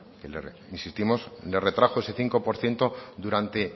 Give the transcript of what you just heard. que le insistimos nos retrajo ese cinco por ciento durante